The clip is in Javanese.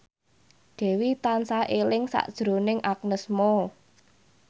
Dewi tansah eling sakjroning Agnes Mo